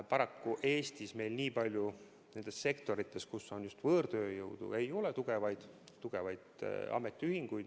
Paraku Eestis nendes sektorites, kus on palju võõrtööjõudu, ei ole tugevaid ametiühinguid.